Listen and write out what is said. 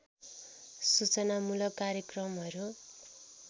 सूचनामूलक कार्यक्रमहरू